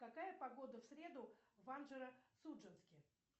какая погода в среду в анжеро судженске